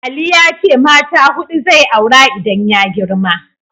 Ali ya ce mata huɗu zai aura idan ya girma.